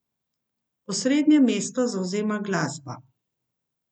Osrednje mesto zavzema glasba.